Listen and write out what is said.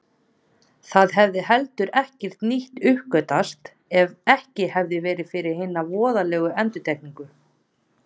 Það hefði heldur ekkert nýtt uppgötvast ef ekki hefði verið fyrir hina voðalegu endurtekningu.